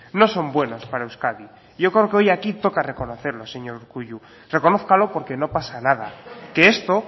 no son buenos para euskadi yo creo que hoy toca reconocerlo señor urkullu reconózcalo porque no pasa nada que esto